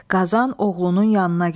Qazan oğlunun yanına gəldi.